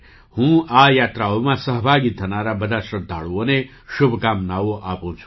હું આ યાત્રાઓમાં સહભાગી થનારા બધા શ્રદ્ધાળુઓને શુભકામનાઓ આપું છું